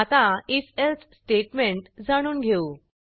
आता if else statement जाणून घेऊ